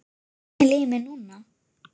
Þannig líður mér núna.